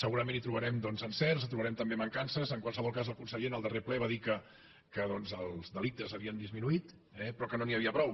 segurament hi trobarem doncs encerts hi trobarem també mancances en qualsevol cas el conseller en el darrer ple va dir que doncs els delictes havien disminuït però que no n’hi havia prou